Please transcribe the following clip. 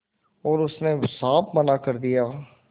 और उसने साफ मना कर दिया